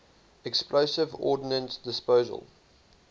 explosive ordnance disposal